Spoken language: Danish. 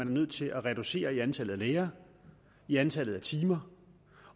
er nødt til at reducere i antallet af lærere i antallet af timer